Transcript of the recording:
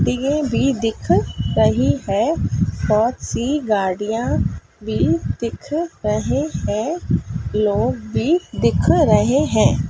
दिए भी दिख रही है बहुत सी गाड़ियाँ भी दिख रहे हैं लोग भी दिख रहे हैं।